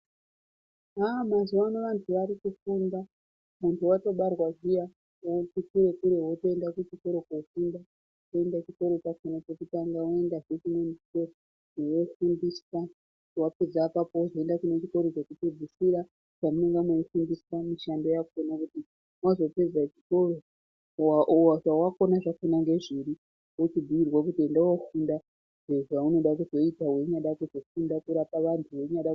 Haa mazuvano vantu varikufunda, muntu watobarwa zviya wotoende kuchikoro kunofunda oinde kuchikoro chachona chekutanga woinde chechipiri wofundiswa wapedza ipapo ozoinde kuchikoro chekupedzisira kwamunenge muchifundiswe mishando yakona wazopedza chikoro wakuona zvawafunda kuti ndezvei ochiudzirwa kuti enda unofunda zvaunoda kuzoita kana unoda kuzorapa vantu.